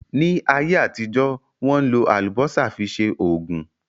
Ní ayé àtijọ́, Wọ́n ń lò Àlùbọ́sà fi ṣe Ògùn